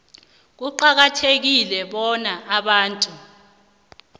kuqakathekile bonyana abantu